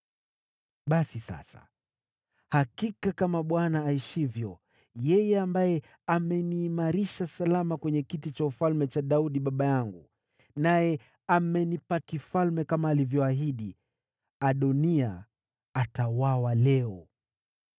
Basi sasa, hakika kama Bwana aishivyo, yeye ambaye ameniimarisha salama kwenye kiti cha ufalme cha Daudi baba yangu, naye amenipa ufalme wa kudumu kama alivyoahidi, Adoniya atauawa leo!”